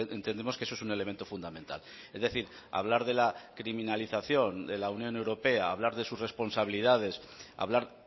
entendemos que eso es un elemento fundamental es decir hablar de la criminalización de la unión europea hablar de sus responsabilidades hablar